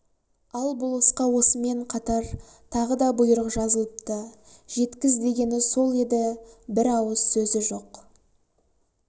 ал болысқа осымен қатар тағы да бұйрық жазылыпты жеткіз дегені сол еді бір ауыз сөзі жоқ